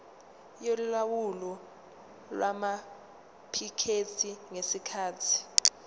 yolawulo lwamaphikethi ngesikhathi